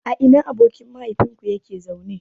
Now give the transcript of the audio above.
A ina abokin mahaifinka yake zaune?